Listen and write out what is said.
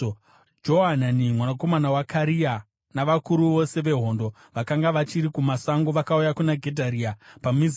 Johanani mwanakomana waKarea navakuru vose vehondo vakanga vachiri kumasango vakauya kuna Gedharia paMizipa.